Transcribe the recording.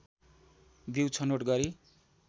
बीउ छनौट गरी